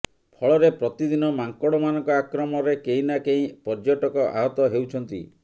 ଫଳରେ ପ୍ରତିଦିନ ମାଙ୍କଡ଼ମାନଙ୍କ ଆକ୍ରମଣରେ କେହି ନା କେହି ପର୍ଯ୍ୟଟକ ଆହତ ହେଉଛନ୍ତି